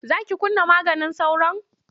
Za ki kunna maganin sauron?